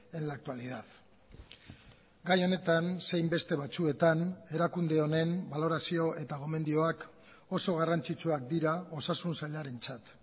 en la actualidad gai honetan zein beste batzuetan erakunde honen balorazio eta gomendioak oso garrantzitsuak dira osasun sailarentzat